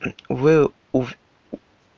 вы у